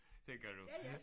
Tænker du